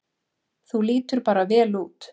Þú lítur bara vel út!